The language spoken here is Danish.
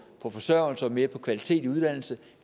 på forsørgelse og mere på kvalitet i uddannelse